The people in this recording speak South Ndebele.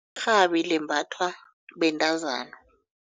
Irhabi limbathwa bentazana.